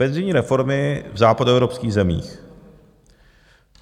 Penzijní reformy v západoevropských zemích.